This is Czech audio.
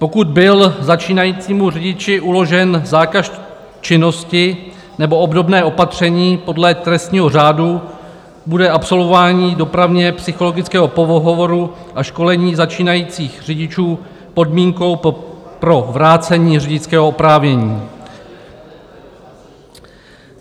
Pokud byl začínajícímu řidiči uložen zákaz činnosti nebo obdobné opatření podle trestního řádu, bude absolvování dopravně psychologického pohovoru a školení začínajících řidičů podmínkou pro vrácení řidičského oprávnění.